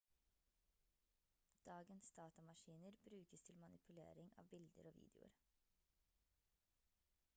dagens datamaskiner brukes til manipulering av bilder og videoer